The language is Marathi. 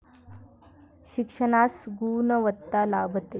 शिक्षणास गुणवत्ता लाभते.